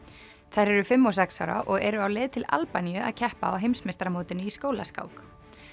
þær eru fimm og sex ára og eru á leið til Albaníu að keppa á heimsmeistaramótinu í skólaskák